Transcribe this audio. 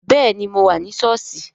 Bẹẹni, mo wà ní sọ́ọ̀sì